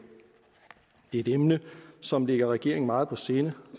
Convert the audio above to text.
det er et emne som ligger regeringen meget på sinde